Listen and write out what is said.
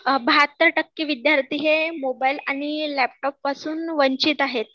बहत्तर टक्के विद्यार्थी हे मोबाइल आणि लॅपटॉप पासून वंचित आहेत